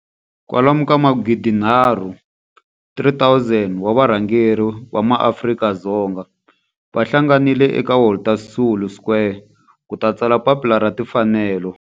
Kwalomu ka magidi nharhu, 3 000, wa varhangeri va maAfrika-Dzonga va hlanganile eka Walter Sisulu Square ku ta tsala Papila ra Timfanelo.